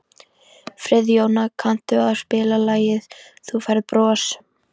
Friðjóna, kanntu að spila lagið „Þú Færð Bros“?